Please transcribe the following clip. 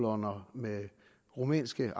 med rumænske